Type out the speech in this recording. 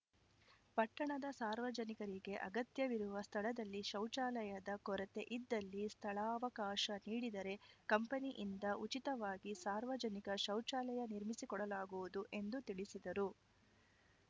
ಪಟ್ಟಣದ ಸಾರ್ವಜನಿಕರಿಗೆ ಅಗತ್ಯವಿರುವ ಸ್ಥಳದಲ್ಲಿ ಶೌಚಾಲಯದ ಕೊರತೆ ಇದ್ದಲ್ಲಿ ಸ್ಥಳಾವಕಾಶ ನೀಡಿದರೆ ಕಂಪನಿಯಿಂದ ಉಚಿತವಾಗಿ ಸಾರ್ವಜನಿಕ ಶೌಚಾಲಯ ನಿರ್ಮಿಸಿಕೊಡಲಾಗುವುದು ಎಂದು ತಿಳಿಸಿದರು